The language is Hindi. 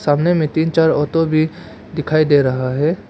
सामने में तीन चार ऑटो भी दिखाई दे रहा है।